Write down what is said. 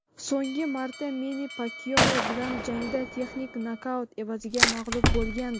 So‘nggi marta Menni Pakyao bilan jangda texnik nokaut evaziga mag‘lub bo‘lgandi.